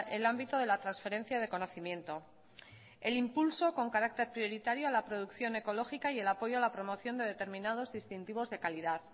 el ámbito de la transferencia de conocimiento el impulso con carácter prioritario a la producción ecológica y el apoyo a la promoción de determinados distintivos de calidad